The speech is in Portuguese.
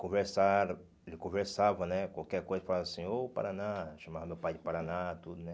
conversaram ele conversava né Qualquer coisa, falava assim, ô Paraná, chamava meu pai de Paraná, tudo, né?